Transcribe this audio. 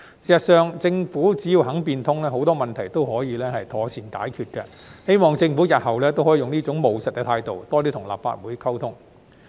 事實上，政府只要肯變通，很多問題都可以妥善解決，希望政府日後也可用這種務實的態度，多與立法會溝通。